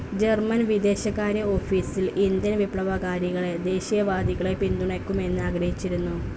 German വിദേശകാര്യ ഓഫീസിൽ Indian വിപ്ലവകാരികളെ, ദേശീയവാദികളെ പിന്തുണയ്ക്കണമെന്ന് ആഗ്രഹിച്ചിരുന്നു.